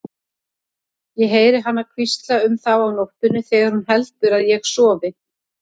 Ég heyri hana hvísla um þá á nóttunni þegar hún heldur að ég sofi.